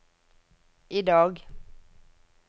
idag